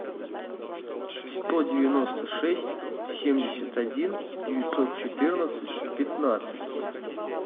сто девяносто шесть семьдесят один девятьсот четырнадцать пятнадцать